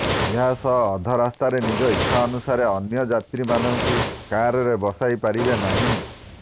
ଏହା ସହ ଅଧ ରାସ୍ତାରେ ନିଜ ଇଚ୍ଛା ଅନୁସାରେ ଅନ୍ୟ ଯାତ୍ରୀ ମାନଙ୍କୁ କାରରେ ବସେଇ ପାରିବେ ନାହିଁ